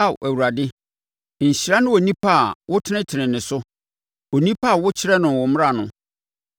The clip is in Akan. Ao Awurade, nhyira ne onipa a wotenetene ne so, onipa a wokyerɛ no wo mmara no;